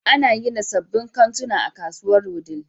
An gina sabbin kantuna a kasuwar Wudil.